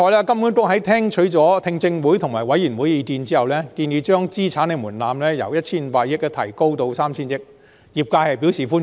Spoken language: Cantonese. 金管局在聽取了聽證會及委員會的意見後，建議將資產門檻由 1,500 億元提高至 3,000 億元，業界對此表示歡迎。